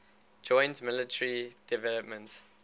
joint military developments